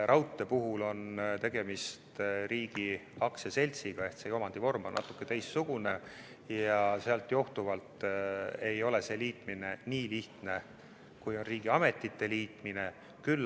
Raudtee puhul on tegemist riigi aktsiaseltsiga ehk omandivorm on natuke teistsugune ja sellest johtuvalt ei ole selle liitmine nii lihtne kui riigiametite liitmine.